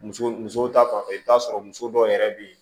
Muso muso ta fanfɛ i bi t'a sɔrɔ muso dɔw yɛrɛ be yen